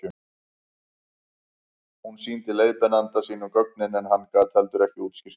hún sýndi leiðbeinanda sínum gögnin en hann gat heldur ekki útskýrt þau